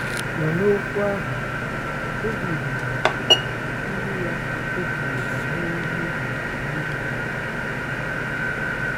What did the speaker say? Ma n’okwu ahụ, Devid na ndị ya ejighị ha mee mmehie maka iri ha.